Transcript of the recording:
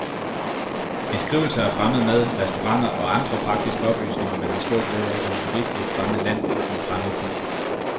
Beskrivelser af fremmed mad, restauranter og andre praktiske oplysninger, man har stor glæde af som turist i et fremmed land, en fremmed by.